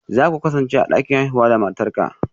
Za ku kasance a dakin haihuwa da matarka?